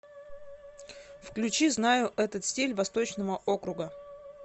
включи знаю этот стиль восточного округа